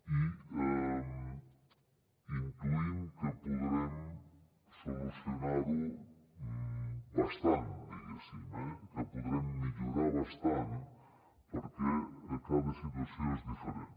i intuïm que podrem solucionar ho bastant diguéssim eh que ho podrem millorar bastant perquè cada situació és diferent